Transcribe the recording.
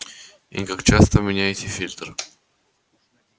и как часто меняете фильтр